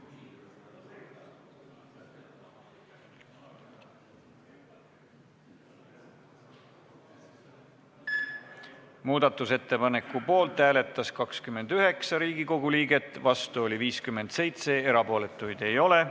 Hääletustulemused Muudatusettepaneku poolt hääletas 29 Riigikogu liiget, vastu oli 57, erapooletuid ei ole.